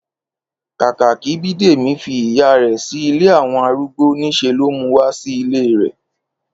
Kákà kí Bídèmí fi ìyá rè̩ sí ilé àwo̩n arúgbo, ní s̩e ló mu wá sí ilé rè̩